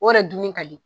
O yɛrɛ dunni ka di